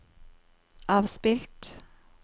avspilt